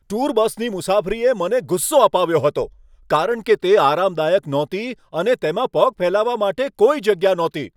Tour બસની મુસાફરીએ મને ગુસ્સો અપાવ્યો હતો, કારણ કે તે આરામદાયક નહોતી અને તેમાં પગ ફેલાવવા માટે કોઈ જગ્યા નહોતી.